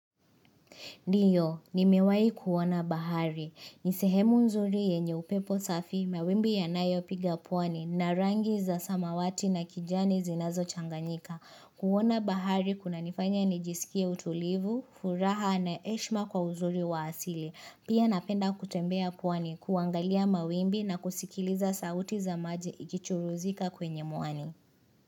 Ndio, nimewahi kuona bahari. Ni sehemu nzuri yenye upepo safi, mawimbi yanayopiga pwani, na rangi za samawati na kijani zinazo changanyika. Kuona bahari kuna nifanya nijisikia utulivu, furaha na heshima kwa uzuri wa asili. Pia napenda kutembea pwani kuangalia mawimbi na kusikiliza sauti za maji ikichuruzika kwenye muani.